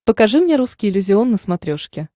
покажи мне русский иллюзион на смотрешке